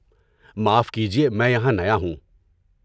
معاف کیجیے، میں یہاں نیا ہوں۔